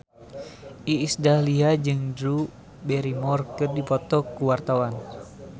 Iis Dahlia jeung Drew Barrymore keur dipoto ku wartawan